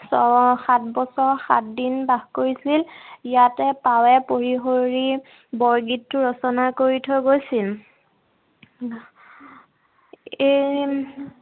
ছয় সাত বছৰ সাত দিন বাস কৰিছিল। ইয়াতে পাৱে পৰি হৰি বৰগীতটো ৰচনা কৰি থৈ গৈছিল। এই